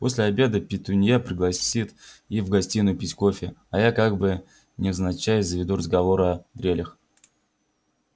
после обеда петунья пригласит их в гостиную пить кофе а я как бы невзначай заведу разговор о дрелях